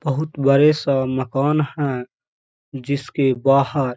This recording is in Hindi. बहुत बड़े-सा मकान है जिसके बाहर --